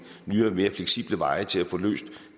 nye og mere fleksible veje til at få løst